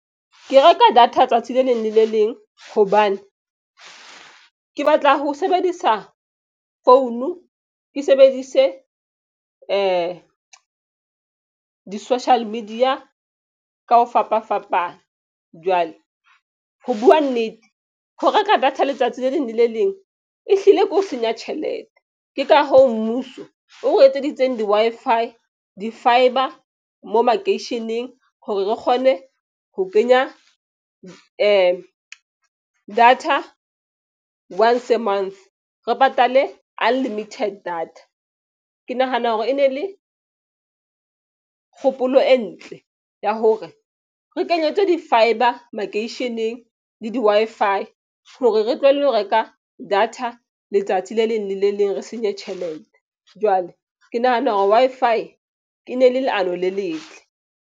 Ke reka data tsatsi le leng le le leng hobane ke batla ho sebedisa founu. Ke sebedise di-social media ka ho fapafapana. Jwale ho bua nnete ho reka data letsatsi le leng le le leng, e hlile ke ho senya tjhelete. Ke ka hoo mmuso o etseditseng di-Wi-Fi di-fibre mo makeisheneng hore re kgone ho kenya data once a month. Re patale unlimited data. Ke nahana hore e ne le kgopolo e ntle ya hore re kenyetswe di-fibre makeisheneng le di-Wi-Fi hore re tlohelle ho reka data letsatsi le leng lele leng re senye tjhelete. Jwale ke nahana hore Wi-Fi e ne le leano le letle.